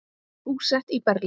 Búsett í Berlín.